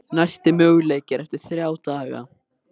Næsti möguleiki er eftir þrjá daga.